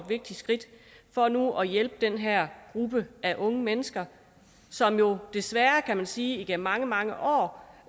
vigtigt skridt for nu at hjælpe den her gruppe af unge mennesker som jo desværre kan man sige igennem mange mange år